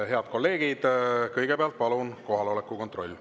Head kolleegid, kõigepealt palun teeme kohaloleku kontrolli.